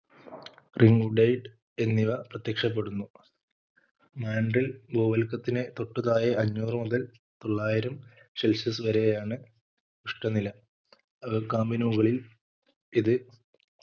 Ringdate എന്നിവ പ്രത്യക്ഷപ്പെടുന്നു mantle ഭൂവൽക്കത്തിന് തൊട്ടു താഴെ അഞ്ഞൂറ് മുതൽ തൊള്ളായിരം celsius വരെയാണ് ഉഷ്‌ണനില അകക്കാമ്പിന് മുകളിൽ ഇത്